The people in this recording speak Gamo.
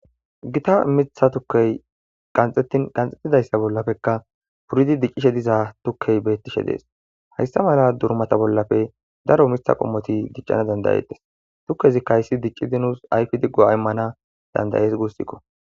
Gita mitha tukey qanxettin qanxxetidayssa bollappekka puridi diccishe diza tukkey beettishe dees. Haysta mala durmata bollappe daro mitha qommoti diccana dandayetes. Tukkezikka hayssi diccidi nus ayfidi go7a imana dandayees gussikko.